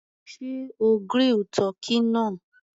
Sé o grill tọ́kì náà?